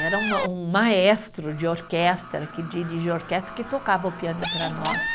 Era um ah, um maestro de orquestra, que dirige orquestra, que tocava o piano para nós.